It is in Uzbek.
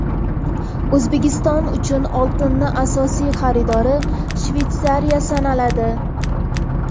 O‘zbekiston uchun oltinning asosiy xaridori Shveysariya sanaladi.